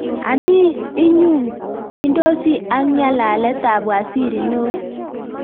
anii iyungyndosi ak nyalalet ab waziri neo?